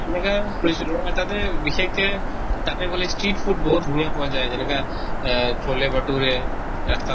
এনেকা ফুৰিছিলো আৰু তাতে বিশেষকে তাতে বুলে street food বহুত ধুনীয়া পোৱা যায় যেনেকা আহ ৰাস্তাত